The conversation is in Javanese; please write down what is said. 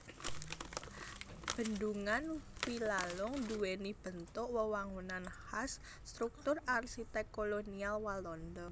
Bendhungan Wilalung duwéni bentuk wewangunan khas struktur arsitek kolonial Walanda